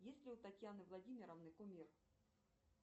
есть ли у татьяны владимировны кумир